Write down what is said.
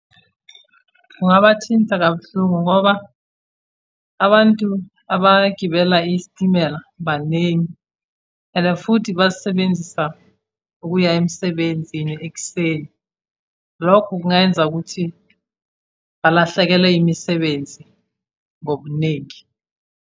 Kungabathinta kabuhlungu, ngoba abantu abagibela isitimela baningi and futhi basisebenzisa ukuya emsebenzini ekuseni. Lokho kungayenza ukuthi balahlekelwe imisebenzi ngobuningi.